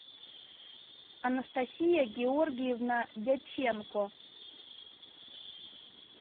анастасия георгиевна дьяченко